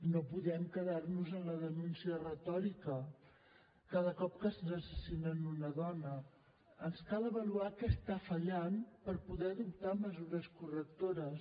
no podem quedar nos en la denúncia retòrica cada cop que ens assassinen una dona ens cal avaluar què està fallant per poder adoptar mesures correctores